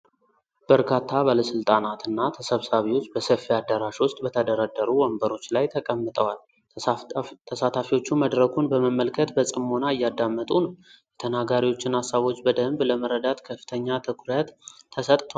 በርካታ ባለሥልጣናትና ተሰብሳቢዎች በሰፊ አዳራሽ ውስጥ በተደረደሩ ወንበሮች ላይ ተቀምጠዋል። ተሳታፊዎቹ መድረኩን በመመልከት በጽሞና እያዳመጡ ነው። የተናጋሪዎችን ሃሳቦች በደንብ ለመረዳት ከፍተኛ ትኩረት ተሰጥቷል።